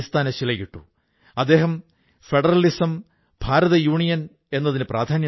ഝാർഖണ്ഡിൽ ഈ കാര്യം വനിതകളുടെ സ്വയംസഹായതാ സംഘങ്ങൾ ചെയ്തുകാട്ടിയിരിക്കയാണ്